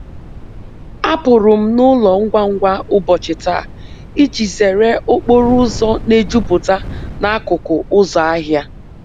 Apụrụ m n’ụlọ ngwa ngwa ụbochi taa iji zere okporo ụzọ na-ejupụta n’akụkụ ụzọ ahịa.